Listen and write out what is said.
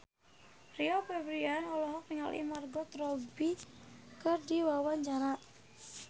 Rio Febrian olohok ningali Margot Robbie keur diwawancara